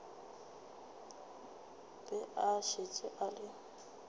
be a šetše a le